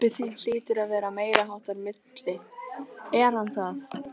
Pabbi þinn hlýtur að vera meiriháttar milli, er hann það?